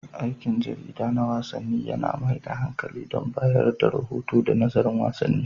Aikin jarida na wasanni yAna mai da hankali kan bayar da rahoto da nazarin wasanni